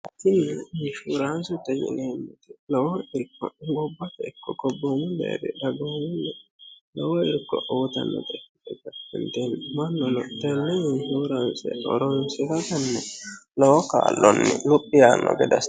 tini inshuuraansete yineemmoti lowo ingubbate ikko gobboommu deerri dagoomunni lowo irko uyiitannote ikieta hindee mannono tenne inshuuraanse horoonsiratenni lowo kaallonni luphi yaanno gede assitayo